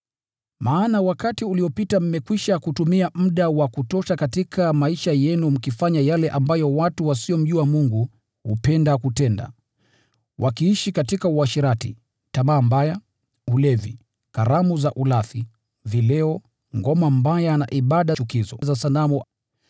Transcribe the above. Maana wakati uliopita mmekwisha kutumia muda wa kutosha katika maisha yenu mkifanya yale ambayo wapagani hupenda kutenda: wakiishi katika uasherati, tamaa mbaya, ulevi, karamu za ulafi, vileo, ngoma mbaya, na ibada chukizo za sanamu.